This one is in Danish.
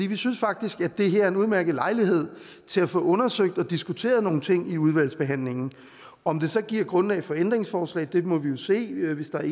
vi synes faktisk at det her er en udmærket lejlighed til at få undersøgt og diskuteret nogle ting i udvalgsbehandlingen om det så giver grundlag for ændringsforslag må vi jo se hvis der